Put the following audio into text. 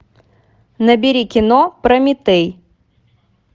набери кино прометей